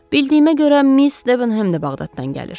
Bildiyimə görə Miss Deham da Bağdaddan gəlir.